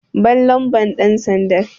Ban lambar ɗansandan!